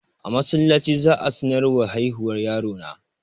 A masallaci za'ayi sanarwar haihuwar yaron na